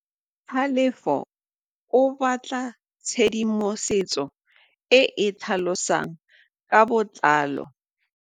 Tlhalefô o batla tshedimosetsô e e tlhalosang ka botlalô.